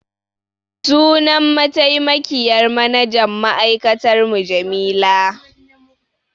Sunan mataimakiyyar manajan ma'aikatar mu Jamila.